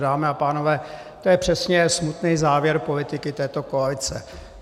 Dámy a pánové, to je přesně smutný závěr politiky této koalice.